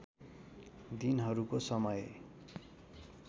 दिनहरूको समय